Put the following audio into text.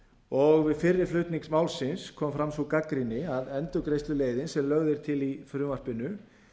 og við fyrri flutning málsins kom fram sú gagnrýni að endurgreiðsluleiðin sem lögð er til í frumvarpinu